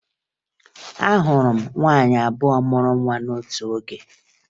Ahụrụ m nwaanyị abụọ mụrụ nwa otu oge